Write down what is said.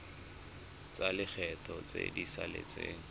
tsa lekgetho tse di saletseng